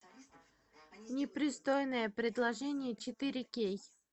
непристойное предложение четыре кей